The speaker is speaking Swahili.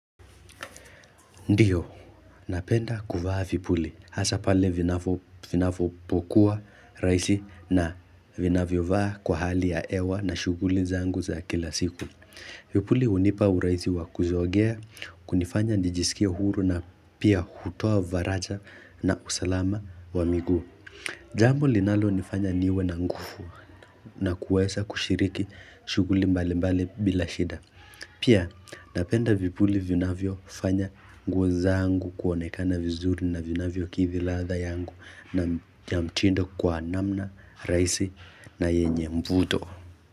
Ndio, napenda kuvaa vipuli. Hasa pale vinapokuwa rahisi na vinavyovaa kwa hali ya hewa na shughuli zangu za kila siku. Vipuli hunipa uraisi wakuzogea, kunifanya njijisikia huru na pia hutoa varaja na usalama wa miguu. Jambo linalonifanya niwe na nguvu na kuweza kushiriki shughuli mbali mbali bila shida. Pia napenda vipuli vinavyofanya nguo zangu kuonekana vizuri na vinavyokidhi ladha yangu na mtindo kwa namna, rahisi na yenye mvuto.